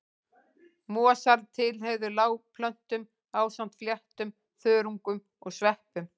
Mosar tilheyrðu lágplöntum ásamt fléttum, þörungum og sveppum.